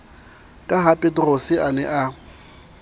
ka hapeterose a ne a